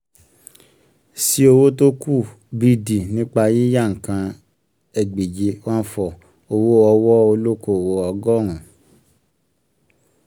sí owó tó kù b d nípa yíyá nǹkan egbèje one four owó ọwọ́ olókòwò ọgọrun